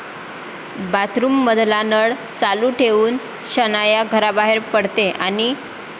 बाथरूममधला नळ चालू ठेवून शनाया घराबाहेर पडते आणि...